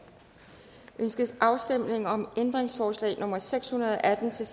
ønskes afstemning om ændringsforslag nummer seks hundrede og atten til